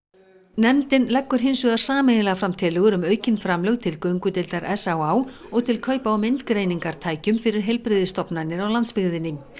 nefndin leggur hins vegar sameiginlega fram tillögur um aukin framlög til göngudeildar s á á og til kaupa á fyrir heilbrigðisstofnanir á landsbyggðinni